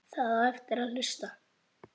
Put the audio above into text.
Það á eftir að hlusta.